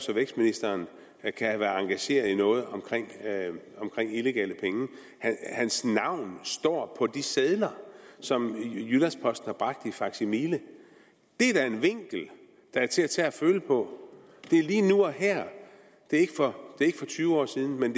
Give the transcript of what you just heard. vækstministeren kan have været engageret i noget om illegale penge hans navn står på de sider som jyllands posten har bragt i faksimile det er da en vinkel der er til at tage og føle på det er lige nu og her det er ikke for tyve år siden men